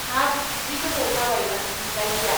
हाब , जि गोबाव जाबायमोन नुलायैया !